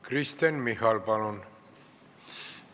Kristen Michal, palun!